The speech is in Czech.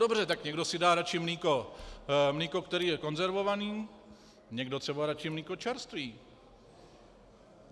Dobře, tak někdo si dá radši mléko, které je konzervované, někdo třeba radši mléko čerstvé.